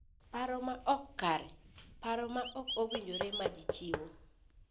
Paro ma ok kare: Paro ma ok owinjore ma ji chiwo.